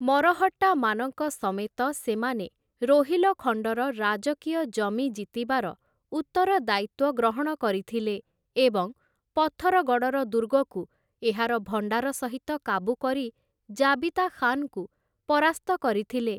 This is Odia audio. ମରହଟ୍ଟାମାନଙ୍କ ସମେତ ସେମାନେ ରୋହିଲଖଣ୍ଡର ରାଜକୀୟ ଜମି ଜିତିବାର ଉତ୍ତରଦାୟିତ୍ଵ ଗ୍ରହଣ କରିଥିଲେ ଏବଂ ପଥରଗଡ଼ର ଦୁର୍ଗକୁ ଏହାର ଭଣ୍ଡାର ସହିତ କାବୁ କରି ଜାବିତା ଖାନ୍‍ଙ୍କୁ ପରାସ୍ତ କରିଥିଲେ ।